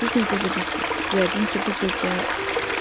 Siz necə bilirsiz, yəqin ki, bu gecə?